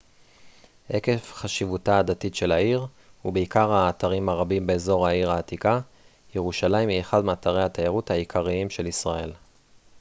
עקב חשיבותה הדתית של העיר ובעיקר האתרים הרבים באזור העיר העתיקה ירושלים היא אחד מאתרי התיירות העיקריים של ישראל